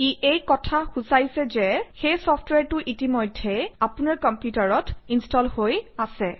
ই এই কথা সূচায়ছে যে সেই চফট্ৱেৰটো ইতিমধ্যেই আপোনাৰ কম্পিউটাৰত ইনষ্টল হৈ আছে